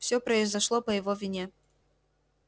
всё произошло по его вине